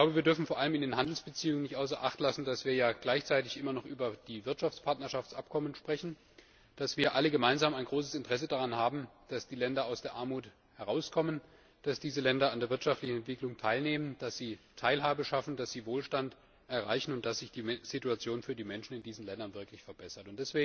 Wir dürfen vor allem bei den Handelsbeziehungen nicht außer Acht lassen, dass wir gleichzeitig immer noch über die Wirtschaftspartnerschaftsabkommen sprechen, dass wir alle gemeinsam ein großes Interesse daran haben, dass die Länder aus der Armut herauskommen, dass diese Länder an der wirtschaftlichen Entwicklung teilnehmen, dass sie Teilhabe schaffen, dass sie Wohlstand erreichen und dass sich die Situation für die Menschen in diesen Ländern wirklich verbessert.